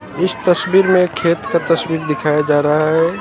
इस तस्वीर में खेत का तस्वीर दिखाया जा रहा है।